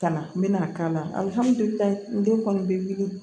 Kana n bɛna k'a lahala den kɔni bɛ wili